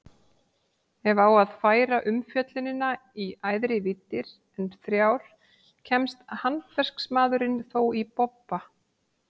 Ef á að færa umfjöllunina í æðri víddir en þrjár kemst handverksmaðurinn þó í bobba.